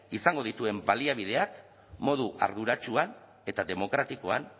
izango dituen baliabideak modu arduratsuan eta demokratikoan